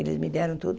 Eles me deram tudo.